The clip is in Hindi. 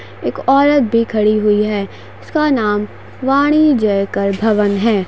एक औरत भी खड़ी हुई है। उसका नाम वाणी जयकर भवन है।